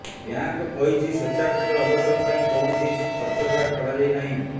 bank କହିଛି ସ୍ବେଚ୍ଛାକୃତ ଅବସର ପାଇଁ କୌଣସି ଖର୍ଚ୍ଚକାଟ କରାଯାଇ ନାହିଁ